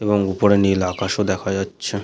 এবং উপরে নীল আকাশ ও দেখা যাচ্ছে।